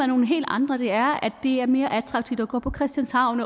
nogle helt andre det er at det er mere attraktivt at gå på christianshavn